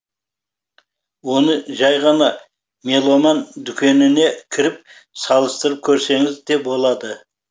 оны жай ғана меломан дүкеніне кіріп салыстырып көрсеңіз де болады